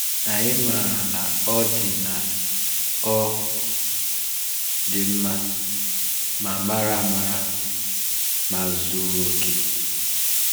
Anyị maara na Ọ dị na Ọ dị mma, ma mara amara, ma zuru oke.